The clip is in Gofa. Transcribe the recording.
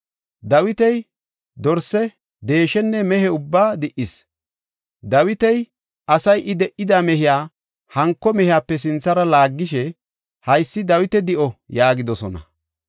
Dawiti dorse, deeshenne mehe ubbaa di77is; Dawita asay I di77ida mehiya hanko mehiyape sinthara laaggishe, “Haysi Dawita di7o” yaagidosona.